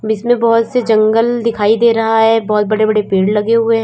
इसमें बहोत से जंगल दिखाई दे रहा है बहोत बड़े बड़े पेड़ लगे हुए हैं।